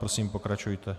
Prosím, pokračujte.